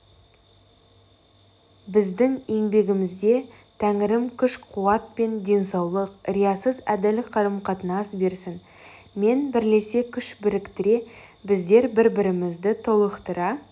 біздің еңбегімізде тәңірім күш-қуат пен денсаулық риясыз әділ қарым-қатынас берсін мен бірлесе күш біріктіре біздер бір бірімізді толықтыра